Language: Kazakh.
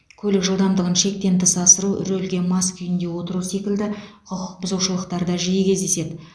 көлік жылдамдығын шектен тыс асыру рөлге мас күйде отыру секілді құқық бұзушылықтар да жиі кездеседі